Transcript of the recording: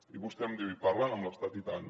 i vostè em diu hi parlen amb l’estat i tant